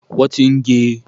wọn ti gé e.